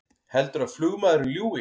Heldurðu að flugmaðurinn ljúgi!